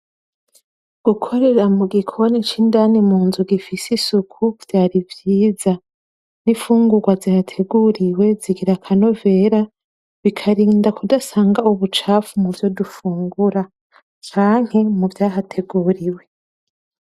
Gukorera mu gikoni c'indani mu nzu gifise isuku vyari vyiza n'infungurwa zihateguriwe zigira akanovera bikari da kudasanga ubucafu muvyo dufungura canke muvyahateguriwe.